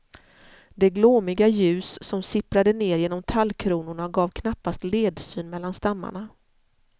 Det glåmiga ljus som sipprade ner genom tallkronorna gav knappast ledsyn mellan stammarna.